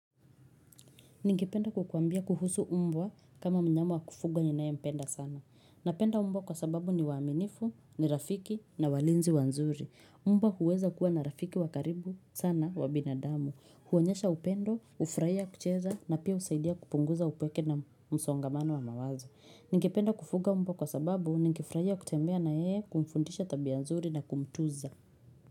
Ningependa kukuambia kuhusu mbwa kama mnyama wa kufugwa ninaempenda sana. Napenda mbwa kwa sababu ni waaminifu, ni rafiki na walinzi wazuri. Mbwa huweza kuwa na rafiki wa karibu sana wa binadamu. Huonyesha upendo, hufrahia kucheza na pia husaidia kupunguza upweke na msongamano wa mawazo. Ningependa kufuga mbwa kwa sababu ningefurahia kutembea na yeye kumfundisha tabia nzuri na kumtunza.